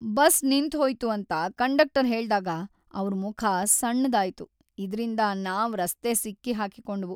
Bus ನಿಂತ್ ಹೊಯ್ತು ಅಂತ ಕಂಡಕ್ಟರ್ ಹೇಳ್ದಾಗ ಅವ್ರ ಮುಖ ಸಣ್ಣದಾಯ್ತು, ಇದ್ರಿಂದ ನಾವ್ ರಸ್ತೆ ಸಿಕ್ಕಿ ಹಾಕಿಕೊಂಡೆವು.